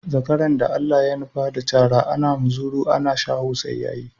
Zakaran da Allah ya nufa da cara, ana muzuru ana shaho sai ya yi.